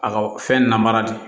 A ka fɛn namara de ye